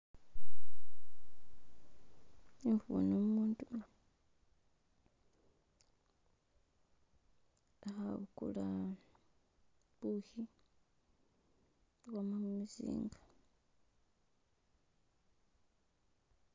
Nkubona umuntu khagula bushi bwama mumuzinga.